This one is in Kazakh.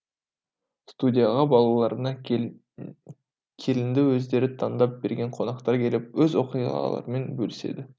студияға балаларына келінді өздері таңдап берген қонақтар келіп өз оқиғаларымен бөліседі